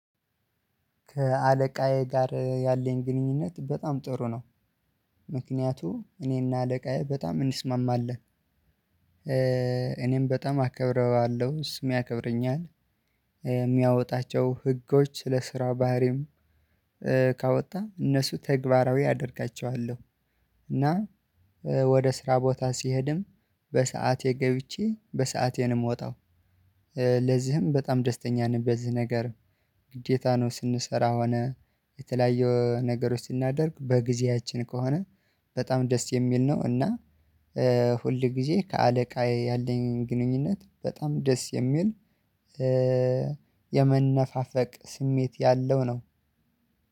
ከአለቃዬ ጋር ያለኝ ግንኙነት በጣም ጥሩ ነው። ምክንያቱም እኔና አለቃዬ በጣም እንስማማለን። እኔም በጣም አከብረዋለሁ እሱም ያከብረኛል። የሚያወጣቸው ህጎች ለስራ ባህሪም ካወጣ እነሱ ተግባራዊ አደርጋቸዋለሁ። እና ወደ ስራ ቦታ ስሄድም በሰአቴ ገብቼ በሰአቴ ነው የምወጣሁ። ለዚህም በጣም ደስተኛ ነኝ። በዚህ ነገርም ግዴታ ነው ስንሰራ ሆነ የተለያዩ ነገሮች ስናደርግ በጊዜያችን ከሆነ በጣም ደስ የሚል ነው። እና ሁል ጊዜ ከአለቃዬ ያለኝን ግንኙነት በጣም ደስ የሚል የመነፋፈቅ ስሜት ያለው ነው።